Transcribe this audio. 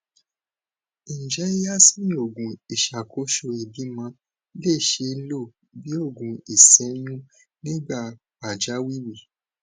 njẹ yasmin oogun iṣakoso ibimọ le ṣee lo bi oogun iseyun nigba pajawiri